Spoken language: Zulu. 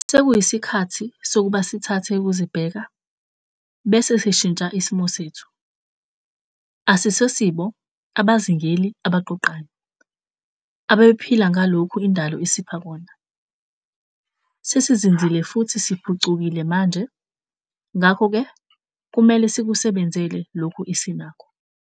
Sekuyisikhathi sokuba sithathe ukuzibheka bese sishintsha isimo sethu - asisibo 'abazingeli abaqoqayo' ababephila ngaloku indalo esipha kona. Sesizinzile futhi siphucukile manje, ngakho-ke kumele sikusebenzele loku esinako.